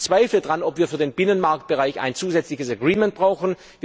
Ich bezweifle, dass wir für den Binnenmarktbereich ein zusätzliches Agreement brauchen.